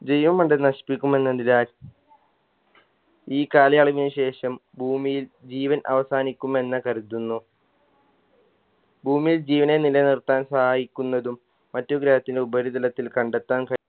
ജൈവമണ്ഡലം നശിപ്പിക്കുമെന്നതിനാൽ ഈ കാലയളവിന് ശേഷം ഭൂമിയിൽ ജീവൻ അവസാനിക്കുമെന്ന് കരുതുന്നു ഭൂമിയിൽ ജീവനെ നിലനിർത്താൻ സഹായിക്കുന്നതും മറ്റു ഗ്രഹത്തിന് ഉപരിതലത്തിന് കണ്ടെത്താൻ